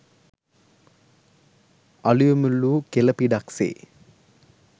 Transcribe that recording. අලුයම ලූ කෙළ පිඩක් සේ